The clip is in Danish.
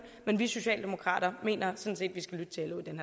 men vi socialdemokrater mener